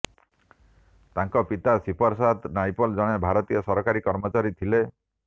ତାଙ୍କ ପିତା ସିପର୍ସାଦ ନାଇପଲ୍ ଜଣେ ଭାରତୀୟ ସରକାରୀ କର୍ମଚାରୀ ଥିଲେ